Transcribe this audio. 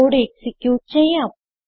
code execute ചെയ്യാം